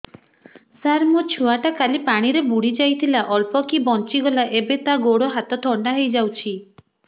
ସାର ମୋ ଛୁଆ ଟା କାଲି ପାଣି ରେ ବୁଡି ଯାଇଥିଲା ଅଳ୍ପ କି ବଞ୍ଚି ଗଲା ଏବେ ତା ଗୋଡ଼ ହାତ ଥଣ୍ଡା ହେଇଯାଉଛି